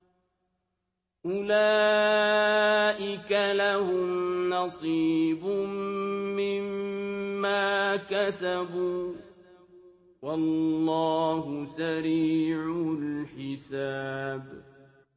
أُولَٰئِكَ لَهُمْ نَصِيبٌ مِّمَّا كَسَبُوا ۚ وَاللَّهُ سَرِيعُ الْحِسَابِ